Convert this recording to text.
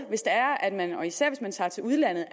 især hvis man tager til udlandet